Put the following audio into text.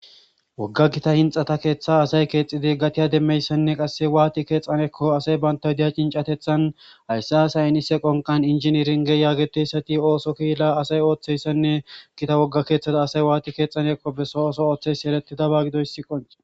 wogga gita inxata keeththa asay keexidi gatiya demmeyssanne qasse waati keexxanekko asay bantawudeya cincatethan haysse asay inise qonqan injiniringe yaageteyssati ooso kiila asay ooththeyssanne gita wogga keeththata asay waati keexanekko beso oso ooththeys eletidaba gidoysiqon